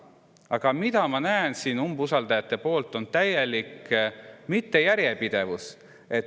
Aga mida ma näen siin umbusaldajate poolt: see on täielik mittejärjepidevus.